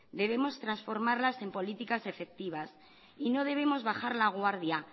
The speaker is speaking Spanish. debemos transformarlas en políticas efectivas y no debemos bajar la guardia